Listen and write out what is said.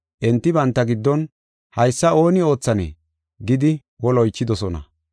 Enti banta giddon, “Haysa ooni oothanee” gidi woli oychidosona.